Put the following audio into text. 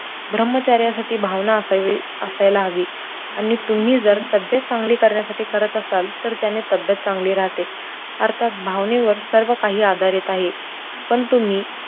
ब्रम्हचर्यासाठी भावना असावी, असायला हवी आणि तुम्ही जर तब्येत चांगली करण्यासाठी करत असाल तर त्याने तब्येत चांगली राहते, अर्थात भावनेवर सर्व काही आधारित आहे पण तुम्ही